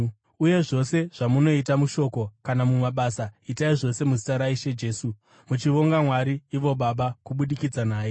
Uye zvose zvamunoita, mushoko kana mumabasa, itai zvose muzita raIshe Jesu, muchivonga Mwari ivo Baba kubudikidza naye.